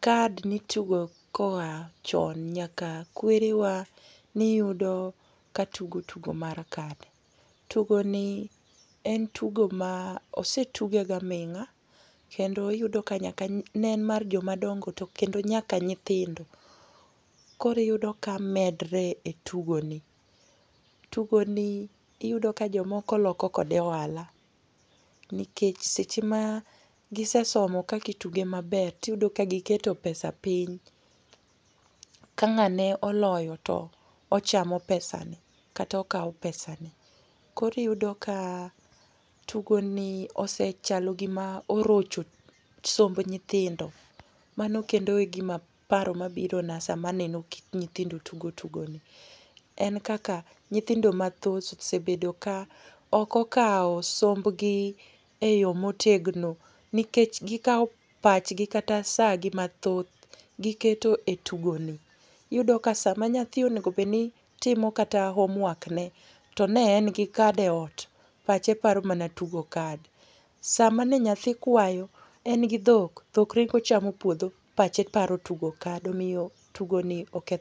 card ni tugo koa chon, nyaka kwerewa niyudo ka tugo, tugo mar card. Tugoni en tugo ma osetuge ga ming'a, kendo iyudo ka nyaka neen mar jomadongo, to kendo nyaka nyithindo, koro iyudo ka medre e tugoni. Tugoni iyudo ka jomok oloko kode ohala. Nikech seche ma gisesomo kakituge maber, tiyudo ka giketo pesa piny. Ka ng'ane oloyo, to ochamo pesani, kata okawo pesan i. Kore iyudo ka tugoni osechalo gima orocho somb nyithindo. Mano kendo e gima, paro ma birona sama aneno nyithindo tugo tugoni. En kaka nyithindo mathoth osebedo ka oko kawo sombgi e yo motegno, nikech gi kawo pachgi kata sa gi mathoth, giketo e tugoni. Iyudo ka sama nyathi onego bedni timo kata homework ne, to ne en gi card e ot, pache paro mana tugo card. Sama ne nyathi kwayo, en gi dhok dhok ringo chamo puodho pache paro tugo card. Omiyo tugoni oketho.